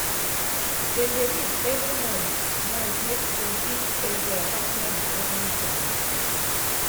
dem dey meet every month month make dem fit check their personal developement plan.